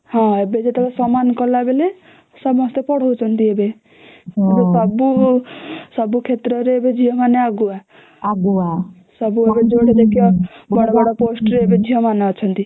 ହଁ ଏବେ ଯେତେ ସମାନ କଲା ବେଳେ ସମସ୍ତେ ପଢ଼ାଉଛନ୍ତି ଏବେ ସବୁ ସବୁ କ୍ଷେତ୍ର ରେ ଏବେ ଝିଅ ମାନେ ଆଗୁଆ ସବୁ ଆଡେ ଯୁଆଡେ ଦେଖିବା ବଡ ବଡ ପୋଷ୍ଟ ରେ ଏବେ ଝିଅ ମାନେ ଅଛନ୍ତି